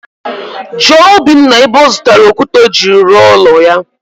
jụọ Obinna ebe ọ zụtara okwute o jiri rụọ ụlọ ya..